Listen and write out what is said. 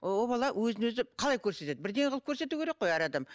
о бала өзін өзі қалай көрсетеді бірдеңе қылып көрсету керек қой әр адам